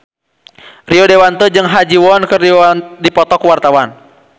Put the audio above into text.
Rio Dewanto jeung Ha Ji Won keur dipoto ku wartawan